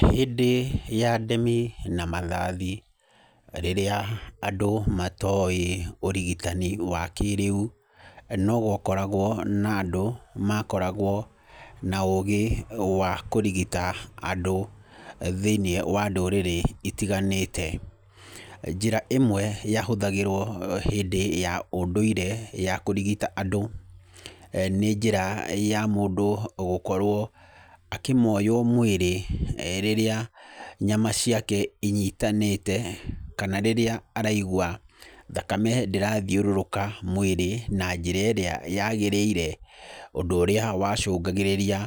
Hĩndĩ ya ndemi na mathathi, rĩrĩa andũ matoĩ ũrigitani wa kĩrĩu, no gwakoragwo na andũ, makoragwo na ũũgĩ wa kũrigita andũ thĩiniĩ wa ndũrĩrĩ itiganĩte. Njĩra ĩmwe yahũthagĩrwo hĩndĩ ya ũndũire ya kũrigita andũ, nĩ njĩra ya mũndũ gũkorwo akĩmoywo mwĩrĩ, rĩrĩa nyama ciake inyitanĩte. Kana rĩrĩa araigua thakame ndĩrathiũrũrũka mwĩrĩ na njĩra ĩrĩa yagĩrĩire. Ũndũ ũrĩa wacũngagĩrĩria